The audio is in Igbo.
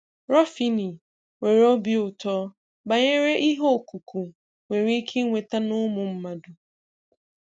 Ruffini nwere obi ụtọ banyere ihe ọ̀kụ̀kụ̀ nwere ike ịnweta na ụmụ mmadụ.